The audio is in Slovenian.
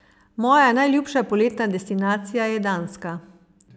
Moja najljubša poletna destinacija je Danska.